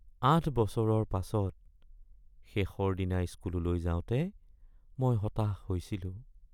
৮ বছৰৰ পাছত শেষৰ দিনা স্কুললৈ যাওঁতে মই হতাশ হৈছিলোঁ